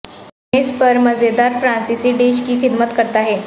میز پر مزیدار فرانسیسی ڈش کی خدمت کرتا ہے